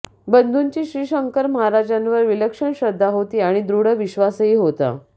बंधूंची श्रीशंकर महाराजांवर विलक्षण श्रद्धा होती आणि दृढ विश्वासही होता